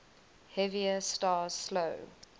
heavier stars slow